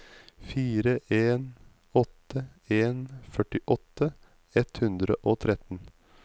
fire en åtte en førtiåtte ett hundre og tretten